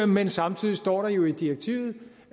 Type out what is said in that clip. men samtidig står der jo i direktivet